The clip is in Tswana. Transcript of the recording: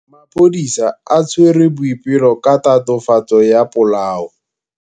Maphodisa a tshwere Boipelo ka tatofatsô ya polaô.